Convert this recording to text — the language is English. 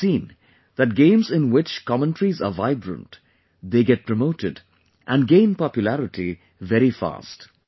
We have seen that games in which commentaries are vibrant, they get promoted and gain popularity very fast